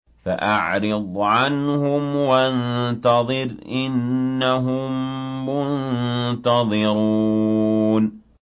فَأَعْرِضْ عَنْهُمْ وَانتَظِرْ إِنَّهُم مُّنتَظِرُونَ